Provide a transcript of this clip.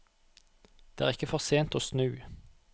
Det er ikke for sent å snu.